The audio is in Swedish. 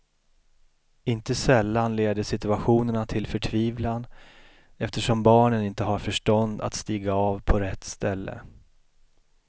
Inte sällan leder situationerna till förtvivlan eftersom barnen inte har förstånd att stiga av på rätt ställe.